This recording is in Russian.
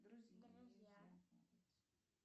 друзья